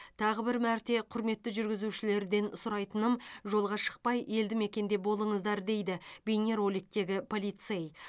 тағы бір мәрте құрметті жүргізушілерден сұрайтыным жолға шықпай елдімекенде болыңыздар дейді бейнероликтегі полицей